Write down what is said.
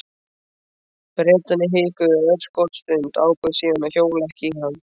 Bretarnir hikuðu örskotsstund, ákváðu síðan að hjóla ekki í hann.